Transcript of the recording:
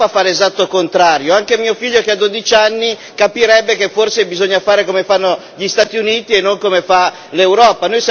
L'Europa fa l'esatto contrario anche mio figlio, che ha dodici anni, capirebbe che forse bisogna fare come fanno gli Stati Uniti e non come fa l'Europa.